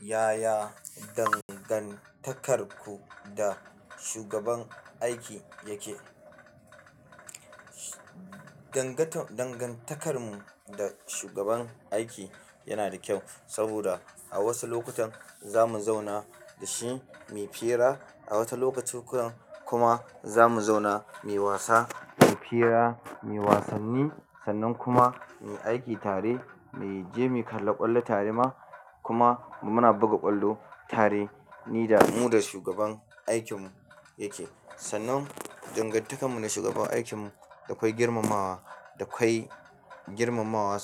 Yaya dangantakarku da shugaban aiki yake? Danganta-dangantakarmu da shugaban aiki yana da kyau saboda a wasu lokutan za mu zauna da shi muyi fira, a wata lokaci kuma za mu zauna muyi wasa, muyi fira, muyii wasanni, sannan kuma mu yi aiki tare, mu je mu kalla ƙwallo tare ma kuma muna buga ƙwallo tare ni da mu da shugaban aikinmu yake. Danganta-dangantakarmu da shugaban aiki yana da kyau saboda a wasu lokutan za mu zauna da shi mai fira, a wata